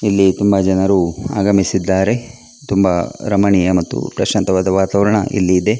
ಇಲ್ಲಿ ತುಂಬಾ ಜನರು ಆಗಮಿಸಿದ್ದಾರೆ ತುಂಬಾ ರಮಣೀಯ ಮತ್ತು ಪ್ರಶಾಂತವಾದ ವಾತಾವರಣ ಇಲ್ಲಿದೆ.